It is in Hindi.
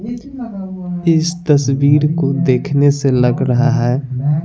इस तस्वीर को देखने से लग रहा है।